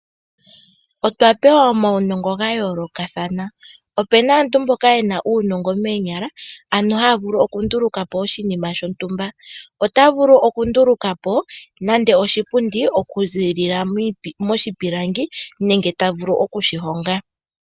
Otwa pewa omawunongo gayooloka thana opena aantu mboka yena uunongo moonyala ano haavulu okundulukapo oshinima shontumba. Otavulu okundulukapo nande oshipundi okuzilila moshipilangi nenge tavulu okushi honga.